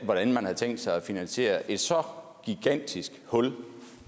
hvordan man havde tænkt sig at finansiere et så gigantisk hul